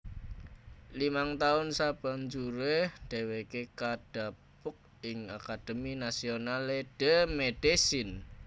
Limang taun sabanjuré dhèwèké kadhapuk ing Académie Nationale de Médecine